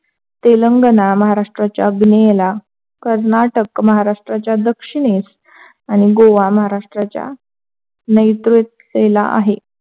तेलंगणा, महाराष्ट्राच्या पूर्वेला कर्नाटक, महाराष्ट्राच्या दक्षिनेस, आणि गोवा नैऋत्येला आहे.